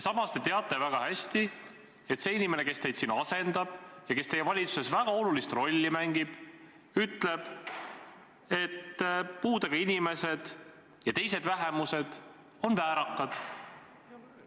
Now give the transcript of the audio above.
Samas te teate väga hästi, et see inimene, kes teid siin sageli asendab ja kes teie valitsuses väga olulist rolli mängib, ütleb, et puudega inimesed ja teised vähemused on väärakad.